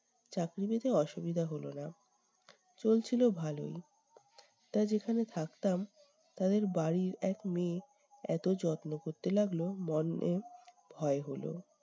চাকরি পেতে অসুবিধা হলো নাহ। চলছিল ভালোই। তা যেখানে থাকতাম, তাদের বাড়ির এক মেয়ে এত যত্ন করতে লাগলো, মনে ভয় হলো।